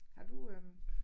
Har du øh